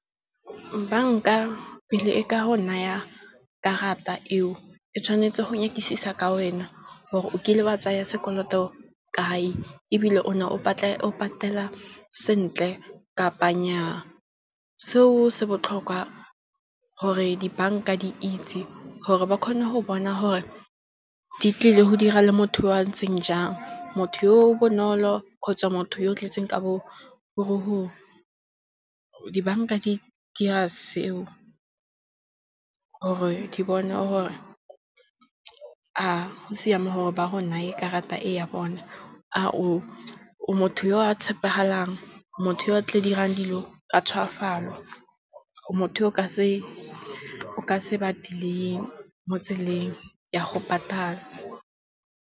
Banka pele e ka go naya karata eo e tshwanetse go nyakisisa ka wena, gore o kile wa tsaya sekoloto kae ebile o ne o patela sentle kapa nyaa. Seo se botlhokwa gore di banka di itse gore ba kgone go bona gore di tlile go dira le motho yo a ntseng jang, motho yo bonolo kgotsa motho yo tletseng ka bogodu. Dibanka di dira seo gore Di bone gore a go siame gore ba go naye karata e ya bone, a o motho yo a tshepegalang, motho yo o tla dirang dilo ka tshogafalo, motho yo o ka se ba delay-ing mo tseleng ya go patala.